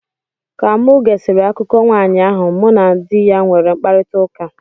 Ka mụ gesịrị akụkọ nwanyị ahụ, mụ na di ya nwere mkparịtaụka.